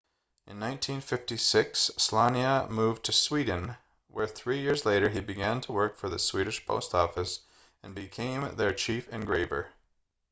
in 1956 słania moved to sweden where three years later he began work for the swedish post office and became their chief engraver